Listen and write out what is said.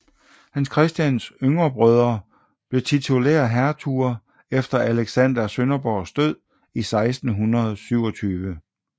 Hans Christians yngre brødre blev titulære hertuger efter Alexander af Sønderborgs død i 1627